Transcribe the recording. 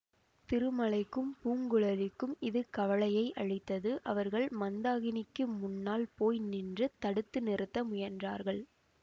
திருமலைக்கும் பூங்குழலிக்கும் இது கவலையை அளித்தது அவர்கள் மந்தாகினிக்கு முன்னால் போய் நின்று தடுத்து நிறுத்த முயன்றார்கள்